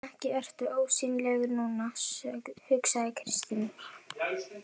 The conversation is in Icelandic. Ekki ertu ósýnilegur núna, hugsaði Kristín.